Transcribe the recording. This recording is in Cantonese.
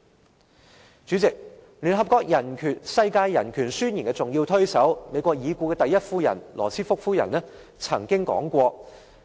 代理主席，聯合國《世界人權宣言》的重要推手，美國已故第一夫人羅斯福夫人曾經說過："